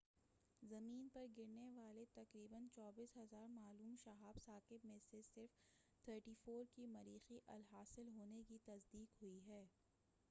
زمیں پر گرنے والے تقریبا 24,000 معلوم شہاب ثاقب میں سے صرف 34 کے مریخی الاصل ہونے کی تصدیق ہوئی ہے